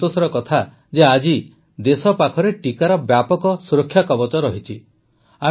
ତେବେ ସନ୍ତୋଷର କଥା ଯେ ଆଜି ଦେଶ ପାଖରେ ଟିକାର ବ୍ୟାପକ ସୁରକ୍ଷାକବଚ ରହିଛି